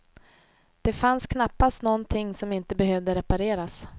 Det fanns knappast någonting som inte behövde repareras.